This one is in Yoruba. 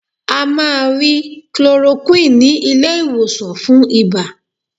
A máa rí chloroquine ní ilé-ìwòsàn fún ibà.